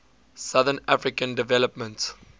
southern african development